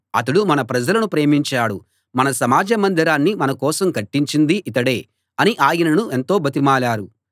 అతడు మన ప్రజలను ప్రేమించాడు మన సమాజ మందిరాన్ని మన కోసం కట్టించింది ఇతడే అని ఆయనను ఎంతో బతిమాలారు